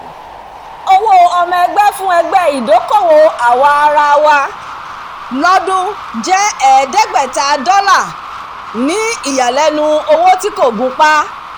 owó ọmọ-ẹgbẹ́ fún ẹgbẹ́ ìdókòwò àwaraawa lọ́dún jẹ́ ẹ̀ẹ́dẹ́gbẹ̀ta dollar ní ìyàlẹ́nu owó tí kò gunpá